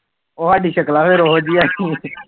ਉਹ ਸਾਡੀਆਂ ਸ਼ਕਲਾ ਰੋਜ